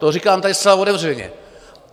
To říkám tady zcela otevřeně.